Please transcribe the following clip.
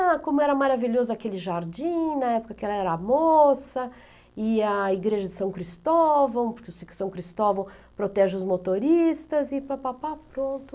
Ah, como era maravilhoso aquele jardim, na época que ela era moça, e a igreja de São Cristóvão, porque o São Cristóvão protege os motoristas, e pá, pá, pá, pronto.